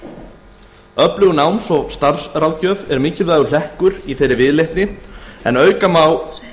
ráðum öflug náms og starfsráðgjöf er mikilvægur hlekkur í þeirri viðleitni en auk þess má